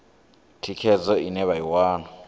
thikhedzo ine vha i wana